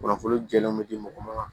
Kunnafoni jɛlen bɛ di mɔgɔ ma